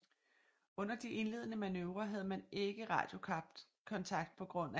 Under de indledende manøvrer havde man ikke radiokontakt pga